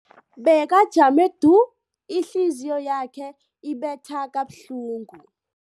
Bekajame du, ihliziyo yakhe ibetha kabuhlungu.